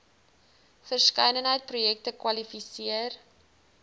verskeidenheid projekte kwalifiseer